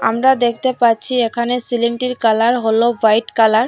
আমরা দেখতে পাচ্ছি এখানে সিলিংটির কালার হল হোয়াইট কালার ।